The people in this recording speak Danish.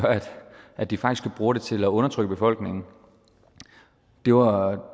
at de faktisk bruger det til at undertrykke befolkningen det var